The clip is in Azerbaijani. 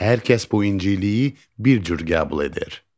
Hər kəs bu inciliyi bir cür qəbul edir.